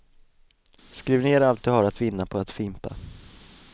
Skriv ner allt du har att vinna på att fimpa.